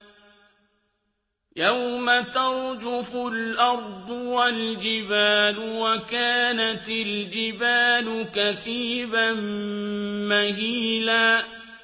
يَوْمَ تَرْجُفُ الْأَرْضُ وَالْجِبَالُ وَكَانَتِ الْجِبَالُ كَثِيبًا مَّهِيلًا